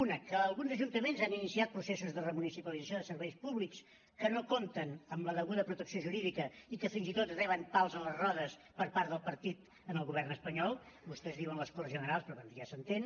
una que alguns ajuntaments han iniciat processos de remunicipalització de serveis públics que no compten amb la deguda protecció jurídica i que fins i tot reben pals a les rodes per part del partit en el govern espanyol vostès diuen les corts generals però bé ja s’entén